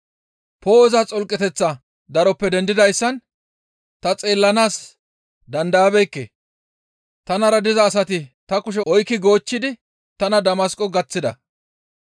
Poo7oza xolqeteththa daroppe dendidayssan ta xeellanaas dandayabeekke; tanara diza asati ta kushe oykki goochchidi tana Damasqo gaththida.